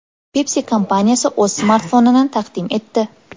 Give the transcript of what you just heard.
Pepsi kompaniyasi o‘z smartfonini taqdim etdi.